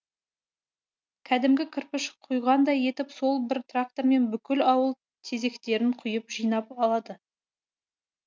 кәдімгі кірпіш құйғандай етіп сол бір трактормен бүкіл ауыл тезектерін құйып жинап алады